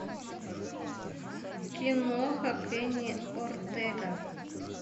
киноха кенни ортега